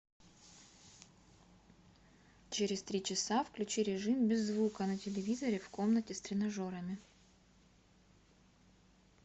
через три часа включи режим без звука на телевизоре в комнате с тренажерами